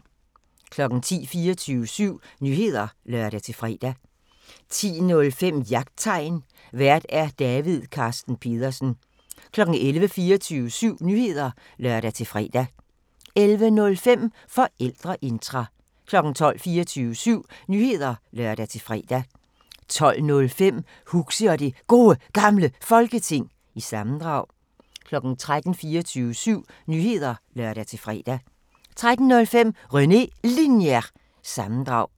10:00: 24syv Nyheder (lør-fre) 10:05: Jagttegn Vært: David Carsten Pedersen 11:00: 24syv Nyheder (lør-fre) 11:05: Forældreintra 12:00: 24syv Nyheder (lør-fre) 12:05: Huxi og det Gode Gamle Folketing – sammendrag 13:00: 24syv Nyheder (lør-fre) 13:05: René Linjer- sammendrag